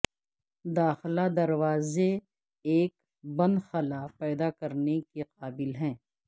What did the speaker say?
داخلہ دروازے ایک بند خلا پیدا کرنے کے قابل ہیں